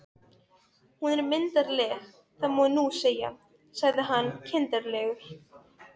Hún er myndarleg, það má nú segja, sagði hann kindarlega.